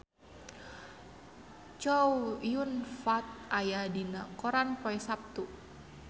Chow Yun Fat aya dina koran poe Saptu